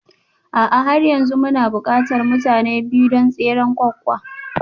A'a har yanzu muna buƙatar mutane biyu don tseren ƙwaƙƙwa